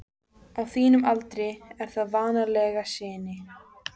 Á þínum aldri er það vanalega sinin.